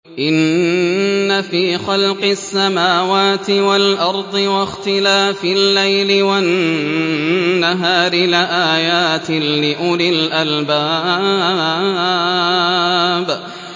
إِنَّ فِي خَلْقِ السَّمَاوَاتِ وَالْأَرْضِ وَاخْتِلَافِ اللَّيْلِ وَالنَّهَارِ لَآيَاتٍ لِّأُولِي الْأَلْبَابِ